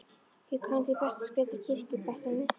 Ég kann því best að skreyta kirkjur, bætti hann við.